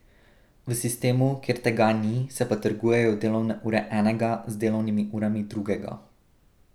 V sistemu, kjer tega ni, se pa trgujejo delovne ure enega z delovnimi urami drugega.